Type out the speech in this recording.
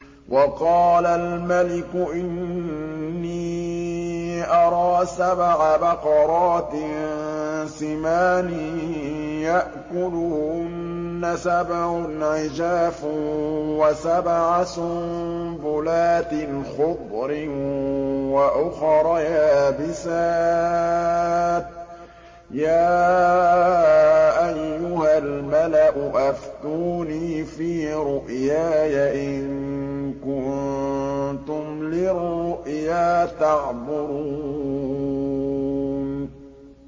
وَقَالَ الْمَلِكُ إِنِّي أَرَىٰ سَبْعَ بَقَرَاتٍ سِمَانٍ يَأْكُلُهُنَّ سَبْعٌ عِجَافٌ وَسَبْعَ سُنبُلَاتٍ خُضْرٍ وَأُخَرَ يَابِسَاتٍ ۖ يَا أَيُّهَا الْمَلَأُ أَفْتُونِي فِي رُؤْيَايَ إِن كُنتُمْ لِلرُّؤْيَا تَعْبُرُونَ